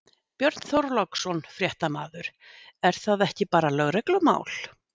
Björn Þorláksson, fréttamaður: Er það ekki bara lögreglumál?